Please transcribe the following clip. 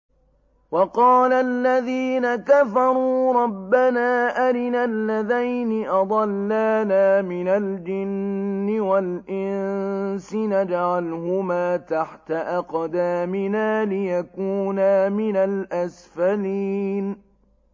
وَقَالَ الَّذِينَ كَفَرُوا رَبَّنَا أَرِنَا اللَّذَيْنِ أَضَلَّانَا مِنَ الْجِنِّ وَالْإِنسِ نَجْعَلْهُمَا تَحْتَ أَقْدَامِنَا لِيَكُونَا مِنَ الْأَسْفَلِينَ